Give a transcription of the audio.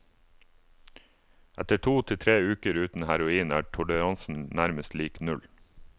Etter to til tre uker uten heroin er toleransen nærmest lik null.